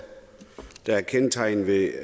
der er kendetegnet ved